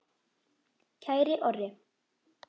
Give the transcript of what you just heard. Kæri Orri.